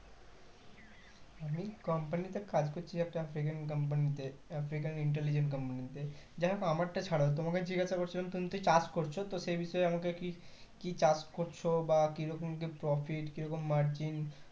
আমি company তে কাজকরছি একটা african company তে african intelligent company তে যাই হোক আমার টা ছাড়ো তোমাকে জিজ্ঞাসা করছিলাম তুমিতো চাষ করছো তো সেই বিষয়ে আমাকে কি কি চাষ করছো বা কি রকম কি profit কি রকম কি margin